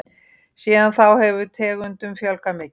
Síðan þá hefur tegundum fjölgað mikið.